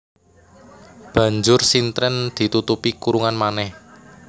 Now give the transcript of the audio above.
Banjur sintren ditutupi kurungan manèh